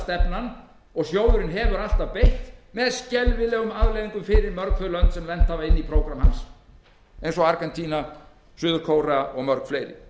harðlínuniðurskurðarstefnan og sjóðurinn hefur alltaf beitt með skelfilegum afleiðingum fyrir mörg þau lönd sem lent hafa inni í prógrammi hans eins og argentínu suður kóreu og mörg fleiri